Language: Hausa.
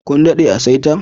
Kun dadde a'saita?